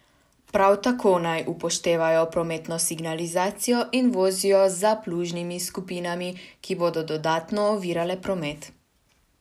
Prav tako naj upoštevajo prometno signalizacijo in vozijo za plužnimi skupinami, ki bodo dodatno ovirale promet.